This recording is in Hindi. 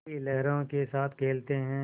की लहरों के साथ खेलते हैं